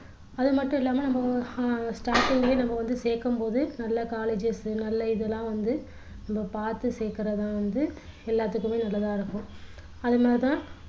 அதுமட்டுமில்லாம நம்ம அஹ் starting லயே நம்ம வந்து சேர்க்கும் போது நல்ல colleges நல்ல இதெல்லாம் வந்து நம்ம பார்த்து சேக்குறது தான் வந்து எல்லாத்துக்குமே நல்லதா இருக்கும் அது மாதிரி தான்